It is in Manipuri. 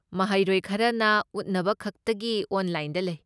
ꯃꯍꯩꯔꯣꯏ ꯈꯔꯅ ꯎꯠꯅꯕꯈꯛꯇꯒꯤ ꯑꯣꯟꯂꯥꯏꯟꯗ ꯂꯩ꯫